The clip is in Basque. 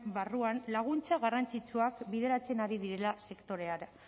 barruan laguntza garrantzitsuak bideratzen ari direla sektorera